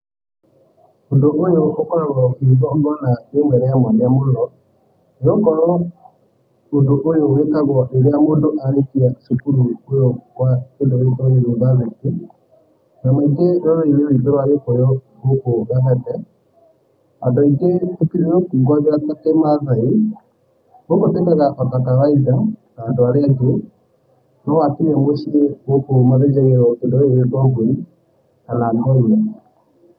Ũndũ ũyũ ũkoragũo wĩ igongona rĩmwe rĩa mwanya mũno, nĩgũkorũo ũndũ ũyũ wĩkagũo rĩrĩa mũndũ arĩkia cukuru kũu kũa kĩndũ gĩgũĩtũo university, na maingĩ rũrĩrĩ-inĩ ruitũ rũa Gĩkuyu gũkũ Kabete, andũ aingĩ tutirũkũngũyagĩra ta ki-maathai, andũ aingĩ gũkũ tũĩkaga ota kawaida ota arĩa angĩ, no hatirĩ mũciĩ gũkũ mathinjagĩrũo tũa mbũri kana